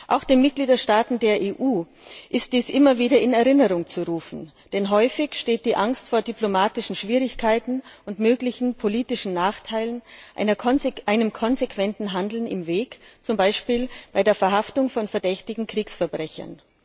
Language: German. Auch den Mitgliedstaaten der EU ist dies immer wieder in Erinnerung zu rufen, denn häufig steht die Angst vor diplomatischen Schwierigkeiten und möglichen politischen Nachteilen einem konsequenten Handeln im Weg, zum Beispiel bei der Verhaftung von verdächtigen Kriegsverbrechern.